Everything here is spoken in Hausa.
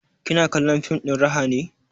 Kina kallon fim ɗin raha ne?